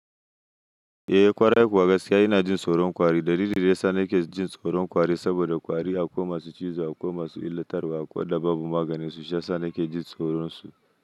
Eh ƙwarai kuwa gaskiya ina jin tsoron kwari da lilili sani ke jin tsoron kwari saboda kwari aƙuwa masu cizo aƙuwa masu illatarwa aƙuwa da babu maganinsu shiyasa nake jin tsoron su.